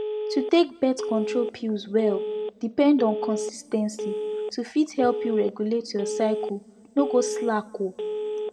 to take birth control pills well depend on consis ten cy to fit help you regulate your cycle no go slack o